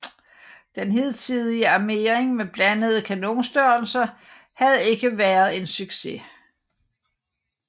Den hidtige armering med blandede kanonstørrelser havde ikke været en succes